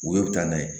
U ye u bɛ taa n'a ye